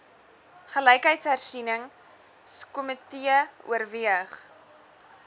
gelykheidshersieningsko mitee oorweeg